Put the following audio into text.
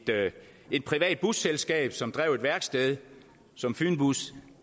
et privat busselskab som drev et værksted som fynbus